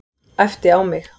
Æpti á mig.